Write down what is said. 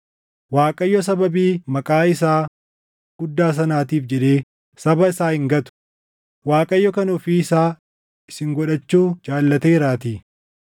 Waaqayyo sababii maqaa isaa guddaa sanaatiif jedhee saba isaa hin gatu; Waaqayyo kan ofii isaa isin godhachuu jaallateeraatii.